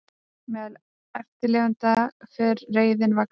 Meðal eftirlifenda fer reiðin vaxandi